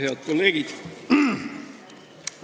Head kolleegid!